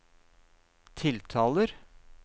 tiltaler